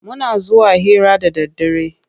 Muna zuwa hira da daddare.